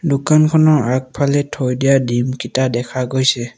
দোকানখনৰ আগফালে থৈ দিয়া ডিম কিটা দেখা পোৱা গৈছে।